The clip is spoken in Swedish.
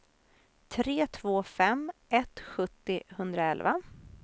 tre två fem ett sjuttio etthundraelva